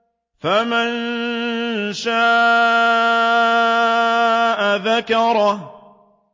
فَمَن شَاءَ ذَكَرَهُ